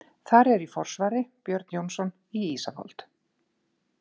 Þar er í forsvari Björn Jónsson í Ísafold.